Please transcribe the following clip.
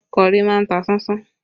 Kọ́rì má ń ta sánsán